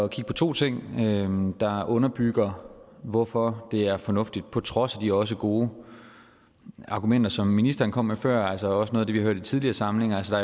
kigge på to ting der underbygger hvorfor det er fornuftigt på trods af de også gode argumenter som ministeren kom med før og altså også noget af det vi har hørt i tidligere samlinger altså